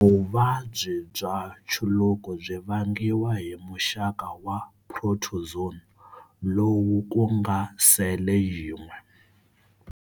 Vuvabyi bya nchuluko byi vangiwa hi muxaka wa protozoon lowu ku nga sele yin'we.